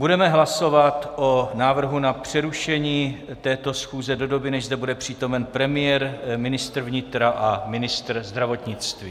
Budeme hlasovat o návrhu na přerušení této schůze do doby, než zde bude přítomen premiér, ministr vnitra a ministr zdravotnictví.